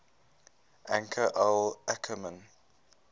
anchor al ackerman